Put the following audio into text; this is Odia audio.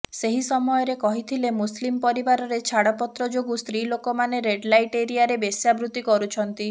ସେହି ସମୟରେ କହିଥିଲେ ମୁସଲିମ୍ ପରିବାରରେ ଛାଡପତ୍ର ଯୋଗୁଁ ସ୍ତ୍ରୀ ଲୋକମାନେ ରେଡ୍ ଲାଇଟ୍ ଏରିଆରେ ବେଶ୍ୟାବୃତି କରୁଛନ୍ତି